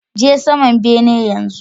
Je saman benen yanzu.